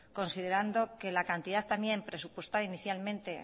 considerando que la cantidad también presupuestada inicialmente